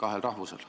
Aitäh!